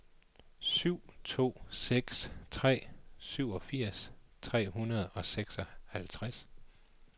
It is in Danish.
syv to seks tre syvogfirs tre hundrede og seksoghalvtreds